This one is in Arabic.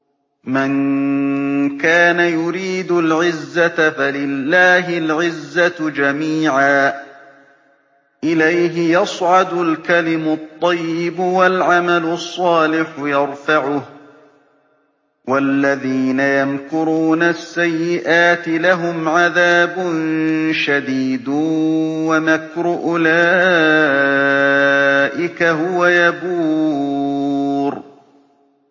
مَن كَانَ يُرِيدُ الْعِزَّةَ فَلِلَّهِ الْعِزَّةُ جَمِيعًا ۚ إِلَيْهِ يَصْعَدُ الْكَلِمُ الطَّيِّبُ وَالْعَمَلُ الصَّالِحُ يَرْفَعُهُ ۚ وَالَّذِينَ يَمْكُرُونَ السَّيِّئَاتِ لَهُمْ عَذَابٌ شَدِيدٌ ۖ وَمَكْرُ أُولَٰئِكَ هُوَ يَبُورُ